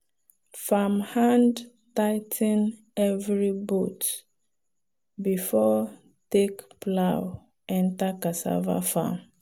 farmhand tigh ten every bolt before take plow enter cassava farm.